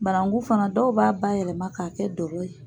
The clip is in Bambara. Bananku fana dɔw b'a bayɛlɛma k'a kɛ dɔgɛ ye.